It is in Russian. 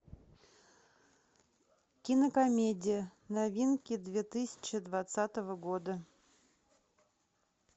кинокомедия новинки две тысячи двадцатого года